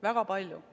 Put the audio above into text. Väga palju.